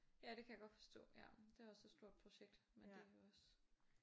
Ja det kan jeg godt forstå ja. Det er også et stort projekt men det jo også